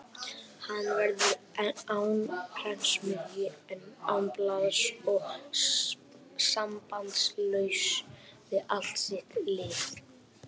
Hann verður án prentsmiðju, án blaðs og sambandslaus við allt sitt lið.